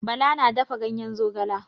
Bala na dafa gayen zogala.